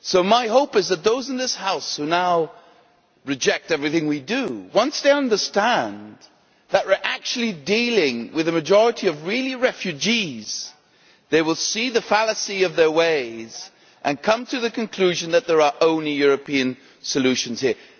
My hope is that once those in this House who currently reject everything we do understand that we are actually dealing with a majority of real refugees, they will see the fallacy of their ways and come to the conclusion that there are only European solutions here.